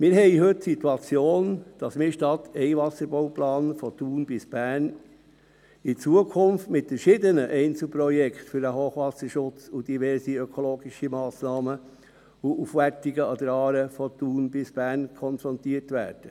Wir haben heute die Situation, dass wir anstatt Wasserbauplans von Thun bis Bern in Zukunft mit verschiedenen Einzelprojekten für den Hochwasserschutz und für diverse ökologische Massnahmen sowie Aufwertungen an der Aare von Thun bis Bern konfrontiert werden.